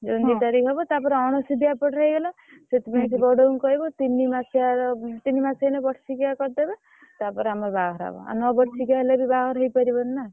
June ଦି ତାରିଖ ହଁ। ହବ ତା ପରେ ଅଣସୁଧିଆ ଏପଟେ ହେଇଗଲା ସେଥିପାଇଁ ସେ ବଡଉ କୁଁ କହିବୁ ତିନି ମାସିଆ ର ତିନି ମାସ ହେନେ ବର୍ଷିକିଆ କରିଦେବେ ତା ପରେ ବାହାଘର ହବ। ଆଉ ନ ବର୍ଷିକିଆ ହେଲେ ବି ବାହାଘର ହେଇ ପାରିବନି ନା।